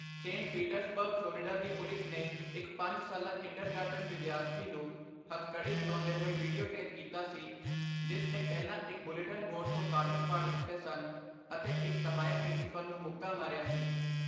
Saint Petersburg, Florida ਦੀ police ਨੇ ਇੱਕ ਪੰਜ ਸਾਲਾ ਕਿੰਡਰਗਾਰਟਨ ਵਿਦਿਆਰਥੀ ਨੂੰ ਹੱਥਕੜੀ ਲਗਾਉਂਦੇ ਹੋਏ ਵੀਡੀਓ ਟੇਪ ਕੀਤਾ ਸੀ ਜਿਸ ਨੇ ਪਹਿਲਾਂ ਇੱਕ ਬੁਲੇਟਿਨ ਬੋਰਡ ਤੋਂ ਕਾਗਜ਼ ਪਾੜ ਦਿੱਤੇ ਸਨ ਅਤੇ ਇੱਕ ਸਹਾਇਕ ਪ੍ਰਿੰਸੀਪਲ ਨੂੰ ਮੁੱਕਾ ਮਾਰਿਆ ਸੀ।